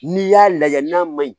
N'i y'a lajɛ n'a ma ɲi